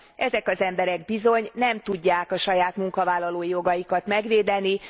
Ezek az emberek bizony nem tudják a saját munkavállalói jogaikat megvédeni.